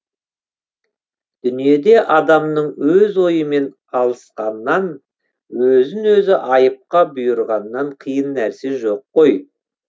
дүниеде адамның өз ойымен алысқаннан өзін өзі айыпқа бұйырғаннан қиын нәрсе жоқ қой